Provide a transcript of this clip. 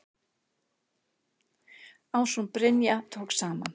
Ásrún Brynja tók saman.